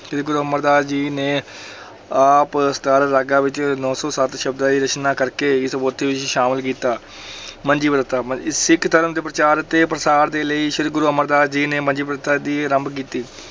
ਸ੍ਰੀ ਗੁਰੂ ਅਮਰਦਾਸ ਜੀ ਨੇ ਆਪ ਸਤਾਰਾਂ ਰਾਗਾਂ ਵਿੱਚ ਨੋਂ ਸੌ ਸੱਤ ਸ਼ਬਦਾਂ ਦੀ ਰਚਨਾ ਕਰਕੇ ਇਸ ਪੋਥੀ ਵਿੱਚ ਸ਼ਾਮਲ ਕੀਤਾ ਮੰਜੀ ਪ੍ਰਥਾ, ਮੰਜੀ ਸਿੱਖ ਧਰਮ ਦੇ ਪ੍ਰਚਾਰ ਅਤੇ ਪ੍ਰਸਾਰ ਦੇ ਲਈ ਸ੍ਰੀ ਗੁਰੂ ਅਮਰਦਾਸ ਜੀ ਨੇ ਮੰਜੀ ਪ੍ਰਥਾ ਦੀ ਆਰੰਭ ਕੀਤੀ।